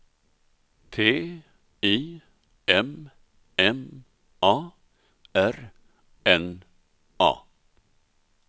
T I M M A R N A